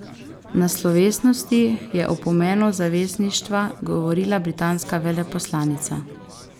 Na slovesnosti je o pomenu zavezništva govorila britanska veleposlanica.